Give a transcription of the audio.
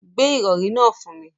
Gbé ìrọ̀rí náà fún mi.